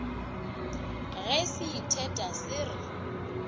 ge se itheta se re